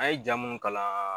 A ye ja munnu kalan